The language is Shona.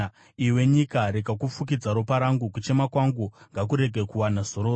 “Iwe nyika, rega kufukidza ropa rangu; kuchema kwangu ngakurege kuwana zororo!